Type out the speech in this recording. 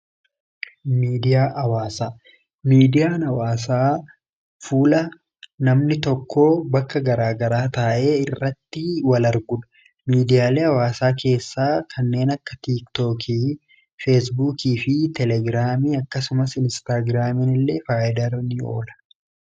Miidiyaa hawaasaa, miidiyaan hawaasaa fuula namni tokkoo bakka garaagaraa taa'ee irratti wal arguudha . miidiyaaleen hawaasaa keessaa kanneen akka tiiktookii feesbuukii fi telegiraamii akkasumas inistaagiraamiin illee faayidaa irra ni oola.